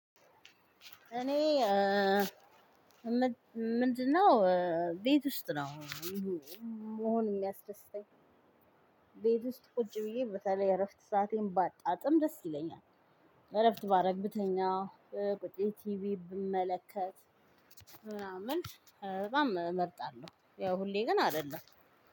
እኔ ምንድነው? ቤት ውስጥ ነው መሆን የሚያስደስተኝ ቤት ውስጥ ቁጭ ብዬ በተለይ እረፍት ሰአቴን ባጣጥም ደስ ይለኛል። እረፍት ባደርግ ብተኛ ቁጭ ብዬ ቲቪ ብመለከት ምናምን በጣም እመርጣለሁ። ያው ሁሌ ግን አይደለም።